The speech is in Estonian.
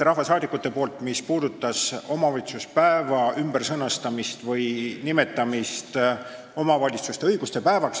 rahvasaadikult, see on omavalitsuspäeva ümbersõnastamine või -nimetamine omavalitsuste õiguste päevaks.